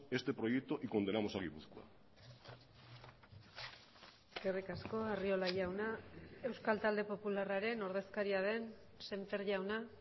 este proyecto y condenamos a gipuzkoa eskerrik asko arriola jauna euskal talde popularraren ordezkaria den semper jauna